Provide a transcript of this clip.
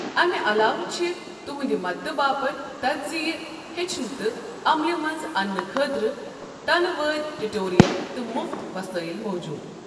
اَمہِ علاوٕ چھِ تُہٕنٛدِ مدتہٕ باپتھ تجزِیہ ہیٚچھنہٕ تہٕ عملہِ منٛز انٛنہٕ خٲطرٕ ٹَنہٕ واد ٹیٛوٗٹورِیل تہٕ مُفٕت وَسٲیِل موٗجود ۔